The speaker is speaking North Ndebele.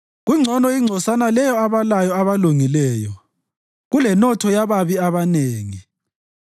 Kungcono ingcosana leyo abalayo abalungileyo kulenotho yababi abanengi;